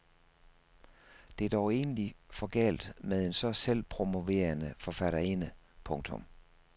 Det er dog egentlig for galt med en så selvpromoverende forfatterinde. punktum